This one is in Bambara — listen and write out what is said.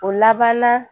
O laban na